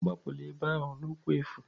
Agbapụla ebe ahụ n'ụkwụ efu!